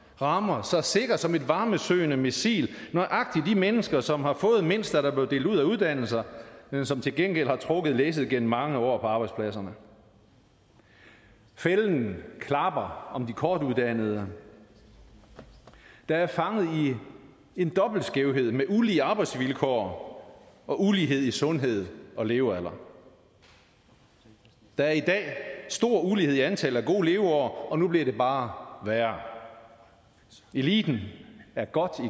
rammer så sikkert som et varmesøgende missil nøjagtig de mennesker som har fået mindst da der blev delt ud af uddannelser men som til gengæld har trukket læsset gennem mange år på arbejdspladserne fælden klapper om de kortuddannede der er fanget i en dobbelt skævhed med ulige arbejdsvilkår og ulighed i sundhed og levealder der er i dag stor ulighed i antal af gode leveår og nu bliver det bare værre eliten er godt